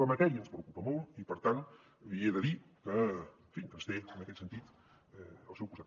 la matèria ens preocupa molt i per tant li he de dir que en fi ens té en aquest sentit al seu costat